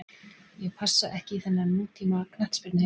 Ég á passa ekki í þennan nútíma knattspyrnuheim.